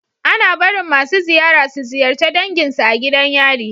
Ana barin masu ziyara su ziyarce dangin su a gidan yari